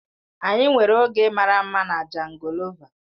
Anyị nwere oge mara mma na jangolova.